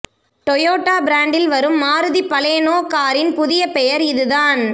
Toyota பிராண்டில் வரும் Maruti Baleno காரின் புதிய பெயர் இதுதான்